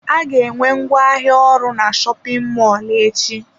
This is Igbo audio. Aga enwe ngwa ahịa ọhụrụ na shopin mọlụ echi.